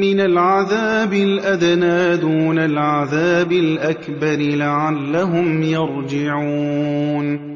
مِّنَ الْعَذَابِ الْأَدْنَىٰ دُونَ الْعَذَابِ الْأَكْبَرِ لَعَلَّهُمْ يَرْجِعُونَ